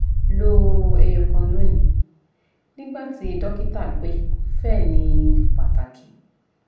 lo eyokan loni nigba ti dokita pe fe ni pataki